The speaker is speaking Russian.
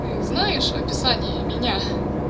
ты знаешь описание меня